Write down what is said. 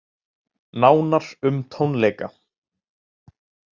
Nánar um tónleika